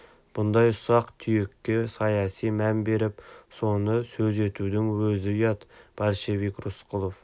мұндай ұсақ-түйекке саяси мән беріп соны сөз етудің өзі ұят большевик рысқұлов